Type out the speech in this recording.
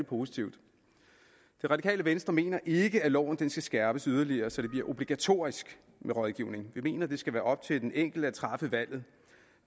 positivt det radikale venstre mener ikke at loven skal skærpes yderligere så det bliver obligatorisk med rådgivning vi mener at det skal være op til den enkelte at træffe valget og